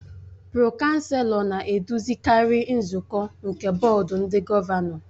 Pro-Chancelọ na-eduzikarị nzukọ nke Bọọdụ ndị Gọvanọ